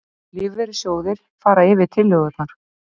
Lífeyrissjóðir fara yfir tillögurnar